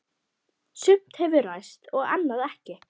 Sumt hefur ræst og annað ekki.